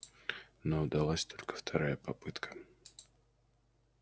но удалась только вторая попытка